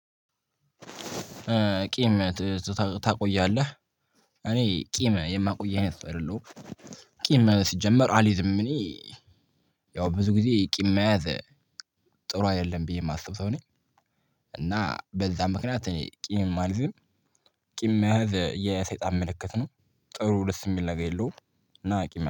ቂም ትትት ታቆያለህ እኔ ቂም የማቆይ አይነት ሰው አይደለሁም። ቂም ሲጀመር አልይዝም እኔ። ያው ብዙ ጊዜ ቂም መያዝ። ጥሩ አይደለም ብዬ የማስበው ሰው ነኝ። እና በዛ ምክንያት እኔ ቂምም አልይዝም። ቂም መያዝ የሰይጣን ምልክት ነው። ጥሩ ደስ የሚል ነገር የለውም። እና ቂም